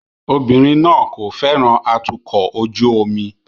Obìnrin náà kò fẹ́ràn atukọ̀ ojú omi